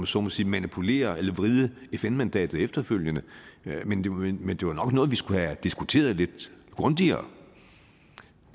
så må sige manipulere eller vride fn mandatet efterfølgende men det var nok noget vi skulle have diskuteret lidt grundigere